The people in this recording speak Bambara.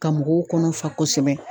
Ka mɔgɔw kɔnɔ fa kɔsɛbɛ.